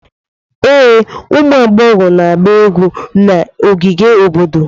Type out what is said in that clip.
Ee, ụmụ agbọghọ na-agba egwu na ogige obodo.